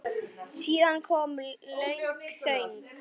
Síðan kom löng þögn.